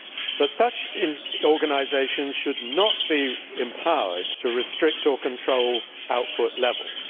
But such organisations should not be empowered to restrict or control output levels.